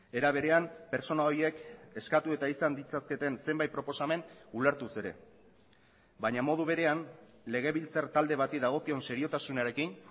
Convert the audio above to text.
era berean pertsona horiek eskatu eta izan ditzaketen zenbait proposamen ulertuz ere baina modu berean legebiltzar talde bati dagokion seriotasunarekin